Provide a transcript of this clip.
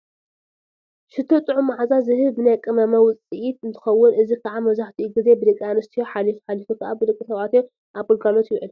ሽቶ ጥዑም መዓዛ ዝህብ ናይ ቅመማ ውፅኢት እንትኾን እዚ ከዓ መብዛሕትኡ ግዜ ብደቂ ኣንስዮ ሓሊፉ ሓሊፉ ከዓ ብደቂ ተባዕትዮ ኣብ ግልጋሎት ይውዕል፡፡